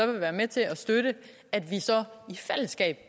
vil være med til at støtte at vi så i fællesskab